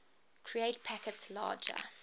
create packets larger